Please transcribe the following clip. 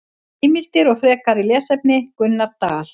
Heimildir og frekari lesefni: Gunnar Dal.